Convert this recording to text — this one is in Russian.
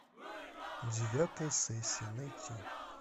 девятая сессия найти